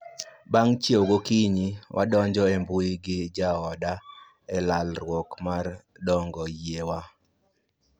Bang' chiew gokinyi, wadonjo e mbui gi ja oda e lalruok mar dongo yie wa